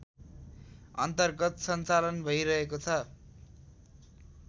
अन्तर्गत सञ्चालन भैरहेको छ